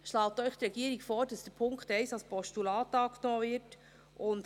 Deswegen schlägt Ihnen die Regierung vor, dass der Punkt 1 als Postulat angenommen wird.